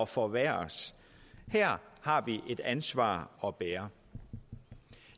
forværres her har vi et ansvar at bære